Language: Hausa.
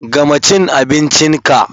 Gama cin abincin ka!